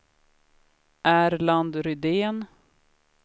Erland Rydén